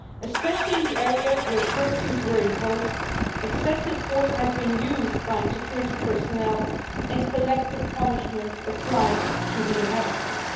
Especially in the areas where curfews were imposed, excessive force has been used by security personnel, and collective punishment has been applied to the inhabitants.